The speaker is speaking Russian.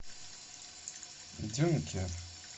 дюнкер